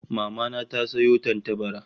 Mama na ta sayo tantabara